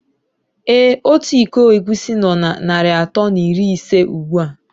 Ee Ọtu ịkọ egwusi nó na narị atọ na iri ise ugbua.